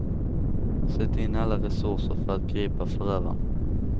Sätt in alla resurser för att gripa förövarna.